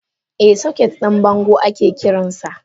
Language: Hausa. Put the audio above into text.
Eh soket din bango ake kiransa.